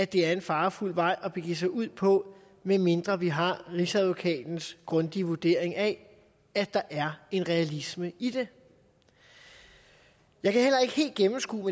det er en farefuld vej at begive sig ud på medmindre vi har rigsadvokatens grundige vurdering af at der er en realisme i det jeg kan heller ikke helt gennemskue